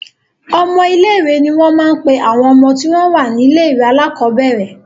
Ọmọ ilé-ìwé ni wọ́n máa ń pe àwọn ọmọ tí wọ́n wà ní ilé-ìwé alákọ̀ọ́bẹ̀rẹ̀.